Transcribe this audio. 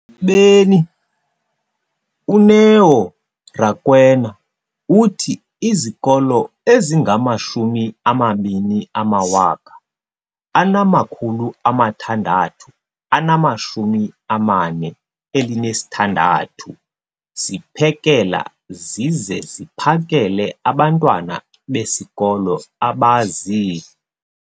beni, uNeo Rakwena, uthi izikolo ezingama-20 619 ziphekela zize ziphakele abantwana besikolo abazi-